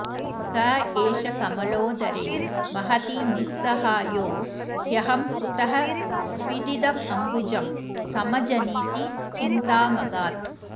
क एष कमलोदरे महति निस्सहायो ह्यहं कुतः स्विदिदमम्बुजं समजनीति चिन्तामगात्